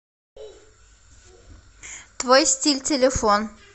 твой стиль телефон